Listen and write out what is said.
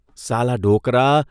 ' સાલા ડોકરા !